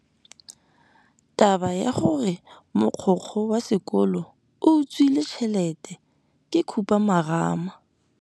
Taba ya gore mogokgo wa sekolo o utswitse tšhelete ke khupamarama.